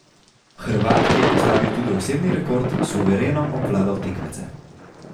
Hrvat, ki je postavil tudi osebni rekord, suvereno obvladal tekmece.